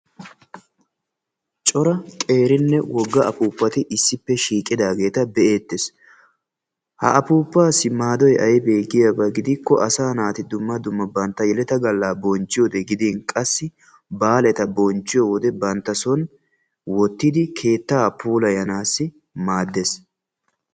Cora qeerinne wogga afuuppati issippe shiiqidaageeta be"eettes. Ha afuuppaassi maadoyi aybe giyaaba gidikkoo asaa naati dumma dumma yeleta bonchchiyode gidin qassi baaleta bonchchiyo wode banttason wottidi keettaa puulayanaassi maaddes.